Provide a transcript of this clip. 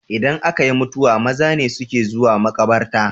Idan akayi mutuwa maza ne suke zuwa makabarta